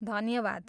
धन्यवाद!